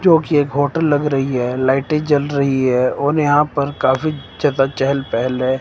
जो कि एक होटल लग रही है लाइटें जल रही है और यहां पर काफी ज्यादा चहल पहल है।